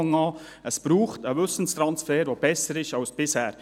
Es braucht einen Wissenstransfer, der besser ist als bisher.